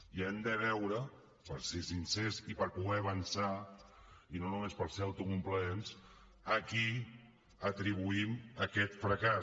i hem de veure per ser sincers i per poder avançar i no només per ser autocomplaents a qui atribuïm aquest fracàs